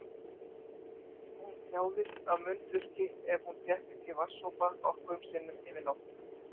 Hún þjáðist af munnþurrki ef hún fékk ekki vatnssopa nokkrum sinnum yfir nóttina.